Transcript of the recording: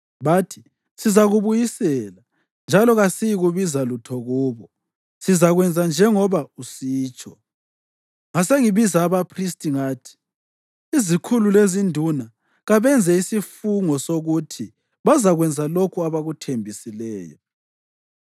Bathi, “Sizakubuyisela. Njalo kasiyikubiza lutho kubo. Sizakwenza njengoba usitsho.” Ngasengibiza abaphristi ngathi izikhulu lezinduna kabenze isifungo sokuthi bazakwenza lokho abakuthembisileyo.